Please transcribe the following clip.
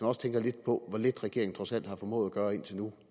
også tænker lidt på hvor lidt regeringen trods alt har formået at gøre indtil nu